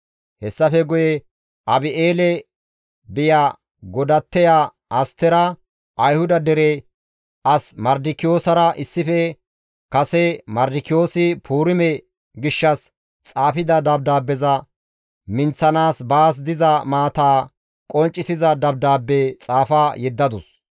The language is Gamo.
Hessafe guye Abi7eele biya godatteya Astera Ayhuda dere as Mardikiyoosara issife kase Mardikiyoosi Puurime gishshas xaafida dabdaabbeza minththanaas baas diza maataa qonccisiza dabdaabbe xaafa yeddadus.